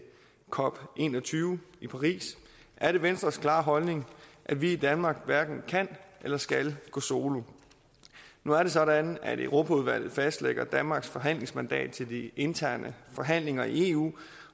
cop en og tyve i paris er det venstres klare holdning at vi i danmark hverken kan eller skal gå solo nu er det sådan at europaudvalget fastlægger danmarks forhandlingsmandat til de interne forhandlinger i eu